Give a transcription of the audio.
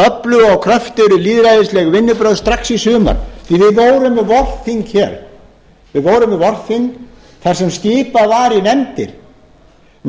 öflugri og kröftugri lýðræðræðislegri vinnubrögð strax í sumar því við vorum með vorþing þar sem skipað var í nefndir